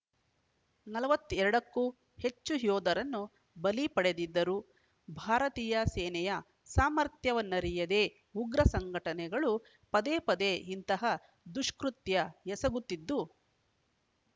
ನಲವತ್ತ್ ಎರಡ ಕ್ಕೂ ಹೆಚ್ಚು ಯೋಧರನ್ನು ಬಲಿ ಪಡೆದಿದ್ದರು ಭಾರತೀಯ ಸೇನೆಯ ಸಾಮರ್ಥ್ಯವನ್ನರಿಯದೇ ಉಗ್ರ ಸಂಘಟನೆಗಳು ಪದೇಪದೇ ಇಂತಹ ದುಷ್ಕೃತ್ಯ ಎಸಗುತ್ತಿದ್ದು